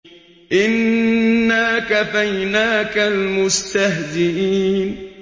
إِنَّا كَفَيْنَاكَ الْمُسْتَهْزِئِينَ